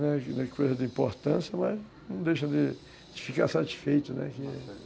Não não é coisa de importância, mas não deixa de ficar satisfeito, né